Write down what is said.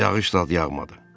Yağış zad yağmadı.